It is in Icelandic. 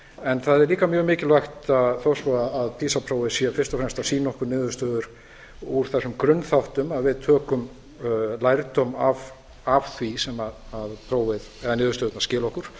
en það er líka mjög mikilvægt þó svo að pisa prófið sé fyrst og fremst að sýna okkur niðurstöður úr þessum grunnþáttum að við tökum lærdóm af því sem niðurstöðurnar skila okkur